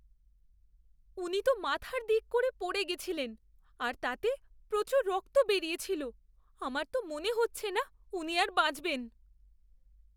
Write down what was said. উনি তো মাথার দিক করে পড়ে গেছিলেন আর তাতে প্রচুর রক্ত বেরিয়েছিল। আমার তো মনে হচ্ছে না উনি আর বাঁচবেন।